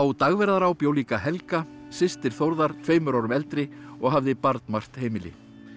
Dagverðará bjó líka Helga systir Þórðar tveimur árum eldri og hafði barnmargt heimili